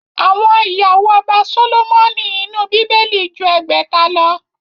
Àwọn ìyàwó ọba Sólómọ́nì inú Bíbélì ju ẹgbẹ̀ta lọ